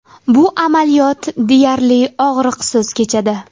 Bu amaliyot deyarli og‘riqsiz kechadi.